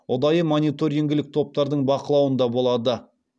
ұдайы мониторингілік топтардың бақылауында болады